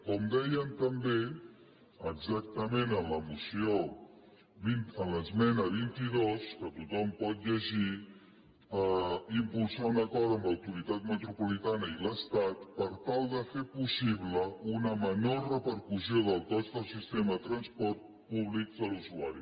com deien també exactament en l’esmena vint dos que tothom pot llegir impulsar un acord amb l’autoritat metropolitana i l’estat per tal de fer possible una menor repercussió del cost del sistema de transport públic a l’usuari